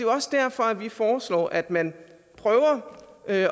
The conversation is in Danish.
også derfor at vi foreslår at man prøver at